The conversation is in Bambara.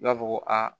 Dɔw b'a fɔ ko aa